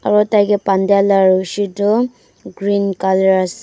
aro tai kae bandiyala rushi toh green colour asae.